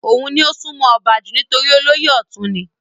òun ni ó sún mọ́ ọba jù nítorí olóyè ọ̀tún ni